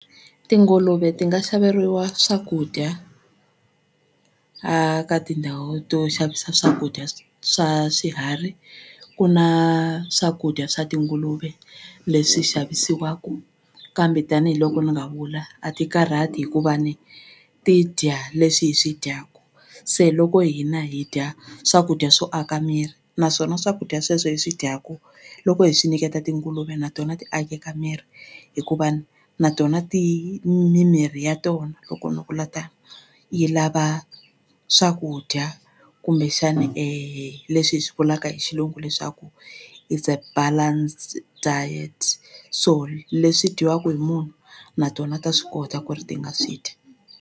Tinguluve ti nga xaveriwa swakudya a ka tindhawu to xavisa swakudya swa swiharhi ku na swakudya swa tinguluve leswi xavisiwaku kambe tanihiloko ni nga vula a ti karhati hikuva ni ti dya leswi hi swi dyaku se loko hina hi dya swakudya swo aka miri naswona swakudya sweswo hi swi dyaku loko hi swi nyiketa tinguluve na tona ti akeka miri hikuva ni na tona ti ni mirhi ya tona loko ni vula tano yi lava swakudya kumbexani leswi hi swi vulaka hi xilungu leswaku is a balance diet so leswi dyiwaka hi munhu na tona ta swi kota ku ri ti nga swi dya.